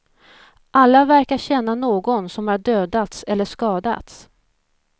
Alla verkar känna någon som har dödats eller skadats.